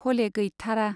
हले गैथारा।